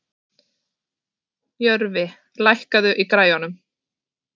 Jörfi, lækkaðu í græjunum.